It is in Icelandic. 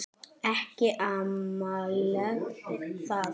Ekki amalegt það.